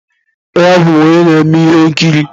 Ee, abụ m onye na-eme ihe nkiri.